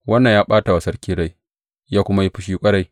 Wannan ya ɓata wa sarki rai, ya kuma yi fushi ƙwarai.